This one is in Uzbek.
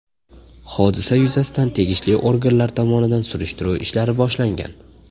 Hodisa yuzasidan tegishli organlar tomonidan surishtiruv ishlari boshlangan.